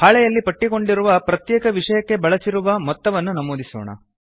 ಹಾಳೆಯಲ್ಲಿ ಪಟ್ಟಿಗೊಂಡಿರುವ ಪ್ರತ್ಯೇಕ ವಿಷಯಕ್ಕೆ ಬಳಸಿರುವ ಮೊತ್ತವನ್ನು ನಮೂದಿಸೋಣ